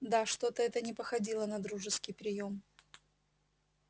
да что-то это не походило на дружеский приём